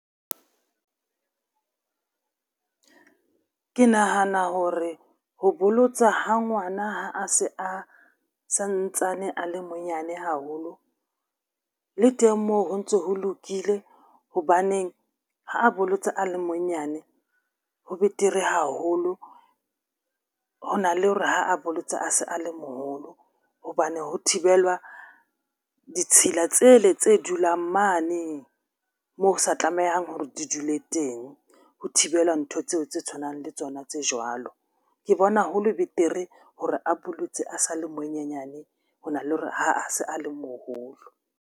Ke nahana hore ho bolotsa ha ngwana ha a se a santsane a le monyane haholo le teng moo ho ntso ho lokile. Hobaneng ha a bolotse a le monyane ho betere haholo hona le hore ha a bolotse a se a le moholo hobane ho thibelwa ditshila tsele tse dulang mane moo sa tlamehang hore di dule teng ho thibela ntho tseo tse tshwanang le tsona tse jwalo. Ke bona hole betere hore a bolotswe a sa le monyenyane hona le hore ha a se a le moholo.